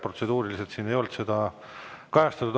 Protseduuriliselt siin ei olnud seda kajastatud.